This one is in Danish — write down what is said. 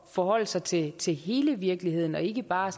forholde sig til til hele virkeligheden og ikke bare